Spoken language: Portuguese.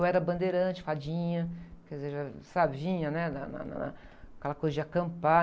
Eu era bandeirante, fadinha, quer dizer, já, sabe? Vinha, né? Na, na, na, com aquela coisa de acampar.